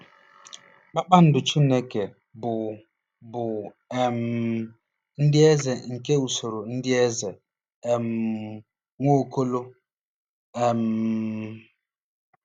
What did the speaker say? "Kpakpando Chineke" bụ bụ um ndị eze nke usoro ndị eze um Nwaokolo. um